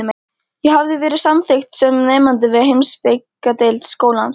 Ég hafði verið samþykkt sem nemandi við heimspekideild skólans.